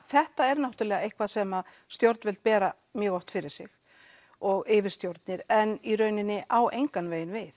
þetta er náttúrulega eitthvað sem stjórnvöld bera mjög oft fyrir sig og yfirstjórnin en í rauninni á engan veginn við